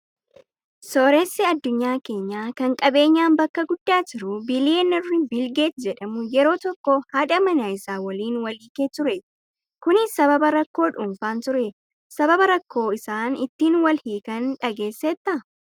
Sooressi addunyaa keenyaa kan qabeenyaan bakka guddaa jiru biliyeenarri Biilgeet jedhamu yeroo tokko haadha manaa isaa waliin wal hiikee ture. Kunis sababa rakkoo dhuunfaan ture. Sababa rakkoo isaan ittiin wal hiikan dhageesseettaa?